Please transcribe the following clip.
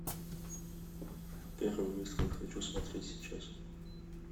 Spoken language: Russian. первый выстрел хочу смотреть сейчас